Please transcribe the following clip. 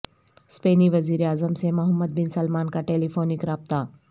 اسپینی وزیراعظم سے محمد بن سلمان کا ٹیلیفونک رابطہ